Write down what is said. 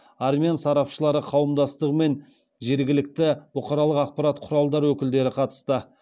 армян сарапшылары қауымдастығы мен жергілікті бұқаралық ақпараттық құрадарының өкілдері қатысты